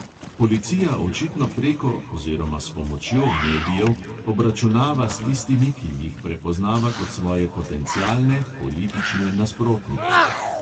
Policija očitno preko oziroma s pomočjo medijev obračunava s tistimi, ki jih prepoznava kot svoje potencialne nasprotnike.